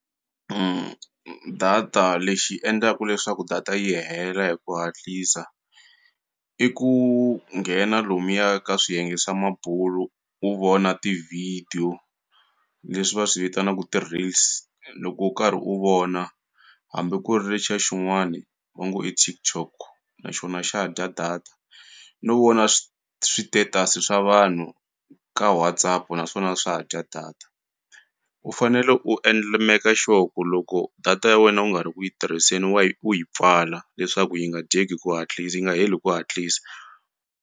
data lexi endlaku leswaku data yi hela hi ku hatlisa i ku nghena lomuya ka swiyenge swa mabulu u vona ti-video leswi va swi vitanaku ti-reels loko u karhi u vona hambi ku ri lexiya xin'wani va ngo i TikTok naxona xa dya data no vona switetasi swa vanhu ka WhatsApp naswona swa dya data u fanele u endla meka sure ku loko data ya wena u nga ri ku yi tirhiseni wa yi u yi pfala leswaku yi nga dyeki hi ku hatlisa yi nga heli ku hatlisa.